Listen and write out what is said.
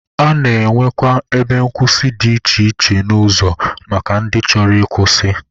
A na-enwekwa ebe nkwụsị dị iche iche n'ụzọ maka ndị chọrọ ịkwụsị.